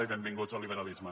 i benvinguts al liberalisme